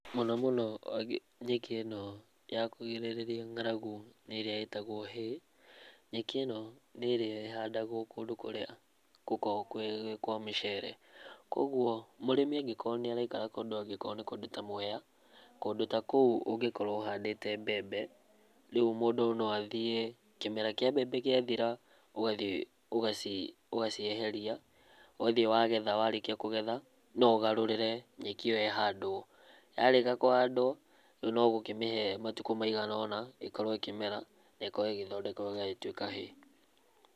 Mũno mũno nyeki ĩno ya kũgirĩrĩria ng'aragu nĩ ĩrĩa ĩtagwo hay. Nyeki ĩno nĩ ĩrĩa ĩhandagwo kũndũ kũrĩa gũkoragwo gwĩ kwa mĩcere. Koguo mũrĩmi angĩkorwo nĩ araikara kũndu angĩkorwo nĩ kũndũ ta Mwea, kũndũ ta kũu ũngĩkorwo ũhandĩte mbembe, rĩu mũndũ no athiĩ kĩmera kĩa mbembe gĩathira, ũgathi ũgacieheria, ũgathi wagetha, warĩkia kũgetha, no ũgarũrĩre nyeki ĩyo ĩhandwo. Yarĩkia kũhandwo, rĩu no gũkĩmĩhe matuko maiganona ĩkorwo ĩkĩmera na ĩkorwo ĩgĩthondekwo ĩgagĩtuĩka hay.